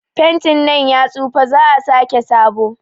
Fentin nan ya tsufa, za'a sake sabo.